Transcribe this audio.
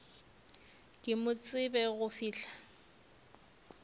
ke mo tsebe go fihla